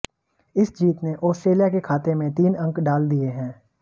इस जीत ने आस्ट्रेलिया के खाते में तीन अंक डाल दिए हैं